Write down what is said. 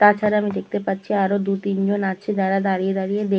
তাছাড়া আমি দেখতে পাচ্ছি আরো দুতিনজন আছে যারা দাঁড়িয়ে দাঁড়িয়ে দেখ--